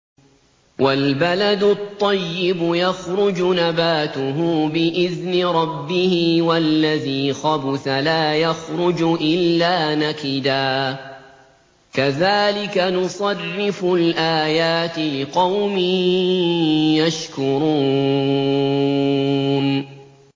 وَالْبَلَدُ الطَّيِّبُ يَخْرُجُ نَبَاتُهُ بِإِذْنِ رَبِّهِ ۖ وَالَّذِي خَبُثَ لَا يَخْرُجُ إِلَّا نَكِدًا ۚ كَذَٰلِكَ نُصَرِّفُ الْآيَاتِ لِقَوْمٍ يَشْكُرُونَ